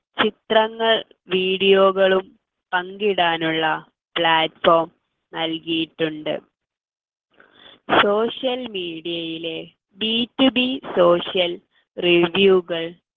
ചിത്രങ്ങൾ video കളും പങ്കിടാനുള്ള platform നൽകിയിട്ടുണ്ട് social media ലെ be to be socialradio കൾ